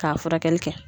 K'a furakɛli kɛ